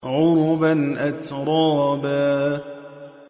عُرُبًا أَتْرَابًا